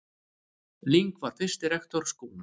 Ling var fyrsti rektor skólans.